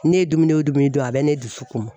Ne ye dumuni o dumuni dun a bɛ ne dusu kumun.